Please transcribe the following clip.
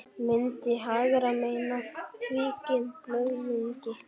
Myndin hægra megin er af tvíkímblöðungi.